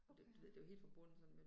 Okay